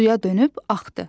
Suya dönüb axdı.